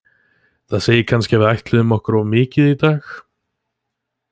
Það segir kannski að við ætluðum okkur of mikið í dag.